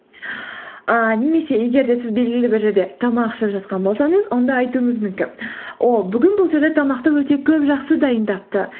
ііі немесе егер де сіз белгілі бір жерде тамақ ішіп жатқан болсаңыз онда айтуыңыз мүмкін о бүгін бұл жерде тамақты өте көп жақсы дайындапты